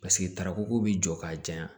Paseke tarako bi jɔ k'a janya